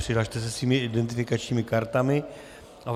Přihlaste se svými identifikačními kartami.